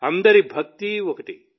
అందరి భక్తి ఒక్కటే